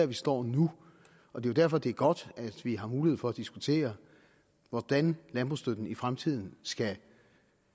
vi står nu og det er derfor det er godt at vi har mulighed for at diskutere hvordan landbrugsstøtten i fremtiden skal